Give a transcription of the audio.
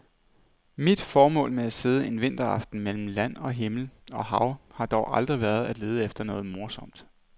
Mit formål med at sidde en vinteraften mellem land, himmel og hav har dog aldrig været at lede efter noget morsomt.